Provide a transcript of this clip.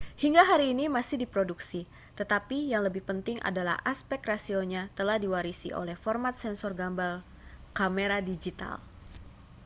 hingga hari ini masih diproduksi tetapi yang lebih penting adalah aspek rasionya telah diwarisi oleh format sensor gambar kamera digital